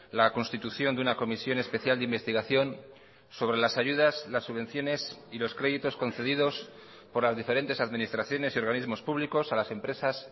la constitución de una comisión especial de investigación sobre las ayudas las subvenciones y los créditos concedidos por las diferentes administraciones y organismos públicos a las empresas